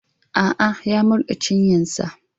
A'a, ya murɗe cinyarsa.